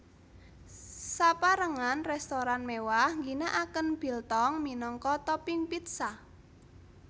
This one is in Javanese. Saperangan restoran mewah ngginakaken biltong minangka topping pizza